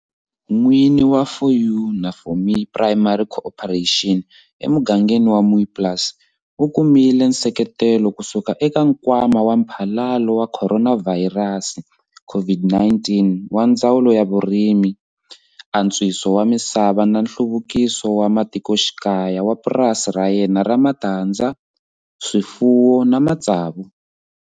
N'wini wa 4 U na 4 Me Primary Cooperative emugangeni wa Mooiplaas u kumile nseketelo kusuka eka Nkwama wa Mphalalo wa Khoronavhayirasi, CO-VID-19, wa Ndzawulo ya Vurimi, Antswiso wa Misava na Nhluvukiso wa Matikoxikaya wa purasi ra yena ra matandza, swifuwo na matsavu.